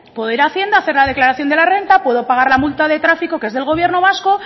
poder ir a hacienda hacer la declaración de la renta puedo pagar la multa de tráfico que es del gobierno vasco